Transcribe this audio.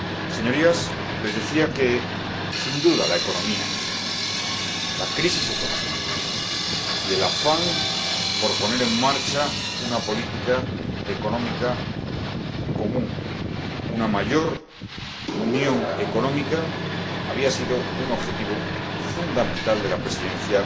Señorías, les decía que, sin duda, la economía —la crisis económica y el afán por poner en marcha una política económica común, una mayor unión económica— había sido un objetivo fundamental de la Presidencia